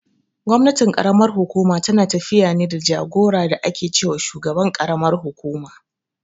Gwamnatin ƙaramar hukuma tana tafiya ne da jagora da ake ce wa shugaban karamar kukuma.